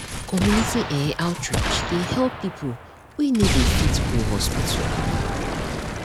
pause - community eh outreach dey help people wey no dey fit go hospital.